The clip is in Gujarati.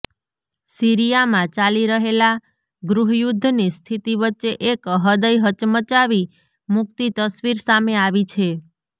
સીરિયામાં ચાલી રહેલા ગૃહયુદ્ધની સ્થિતિ વચ્ચે એક હૃદય હચમચાવી મૂકતી તસવીર સામે આવી છે